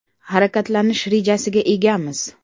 Harakatlanish rejasiga egamiz.